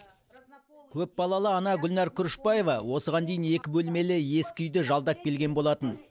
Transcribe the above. көпбалалы ана гүлнәр күрішбаева осыған дейін екі бөлмелі ескі үйді жалдап келген болатын